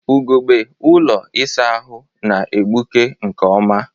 Ugogbe ụlọ ịsa ahụ na-egbuke nke ọma.